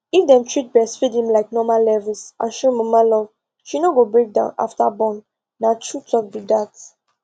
if dem treat breastfeeding like normal levels and show mama love she no go break down after born na true talk be that